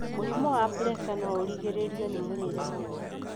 mũrimũ wa puresa no ũgirĩrĩrio nĩ mũrĩire mwega.